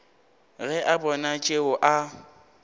ge a bona tšeo a